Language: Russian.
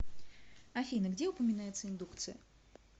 афина где упоминается индукция